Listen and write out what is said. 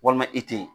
Walima i te yen